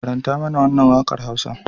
Karanta mana wannan wakar Hausar.